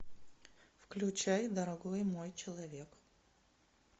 включай дорогой мой человек